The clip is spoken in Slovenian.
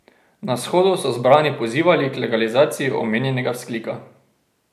Na shodu so zbrani pozivali k legalizaciji omenjenega vzklika.